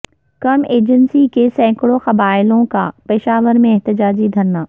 کرم ایجنسی کے سیکڑوں قبائلیوں کا پشاور میں احتجاجی دھرنا